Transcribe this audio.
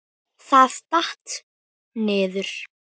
Það datt. niður.